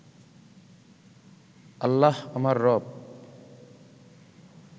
আল্লাহ আমার রব